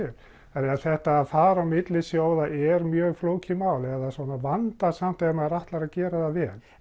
að þetta að fara á milli sjóða er mjög flókið mál eða svona vandasamt ef maður ætlar að gera það vel